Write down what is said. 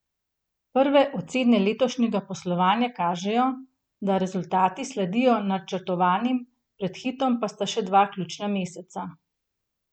Prve ocene letošnjega poslovanja kažejo, da rezultati sledijo načrtovanim, pred Hitom pa sta še dva ključna meseca.